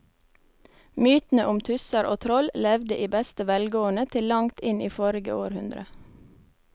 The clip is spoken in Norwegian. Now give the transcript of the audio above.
Mytene om tusser og troll levde i beste velgående til langt inn i forrige århundre.